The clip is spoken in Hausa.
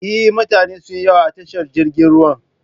Eh, mutane sunyi yawa a tashar jiragen ruwa